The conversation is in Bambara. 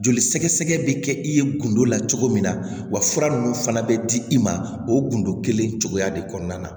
Joli sɛgɛsɛgɛ bi kɛ i ye gindo la cogo min na wa fura nunnu fana bɛ di i ma o gundo kelen cogoya de kɔnɔna na